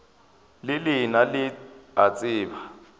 le lena le a tseba